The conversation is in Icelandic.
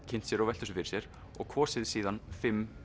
kynnt sér og velt þessu fyrir sér og kosið síðan fimm